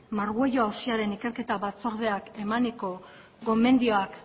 margüello auziaren ikerketa batzordea emaniko gomendioak